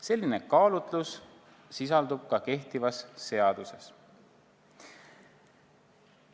Selline kaalutlus sisaldub ka kehtivas seaduses.